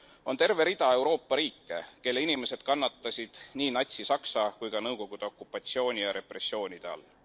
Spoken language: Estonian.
On terve rida Euroopa riike, kelle inimesed kannatasid nii Natsi Saksamaa kui ka Nõukogude okupatsiooni ja repressioonide all.